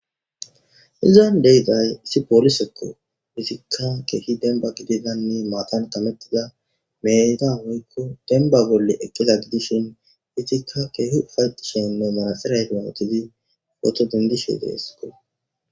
Izzan di'zay issi polise kozzika kehi demba gidida matan kametida meda woyko demba bolla eqidashin izzikaa kehi ufayetishe uttethan dishe desko